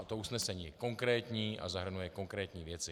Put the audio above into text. A to usnesení je konkrétní a zahrnuje konkrétní věci.